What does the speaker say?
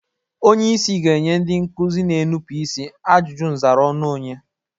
Onyeisi ga-enye ndị nkụzi na-enupu isi ajụjụ nzara ọnụ onye.